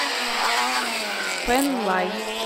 пэнлай